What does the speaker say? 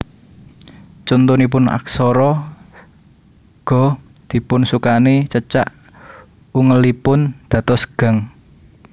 Contonipun aksara ga dipun sukani cecak ungelipun dados gang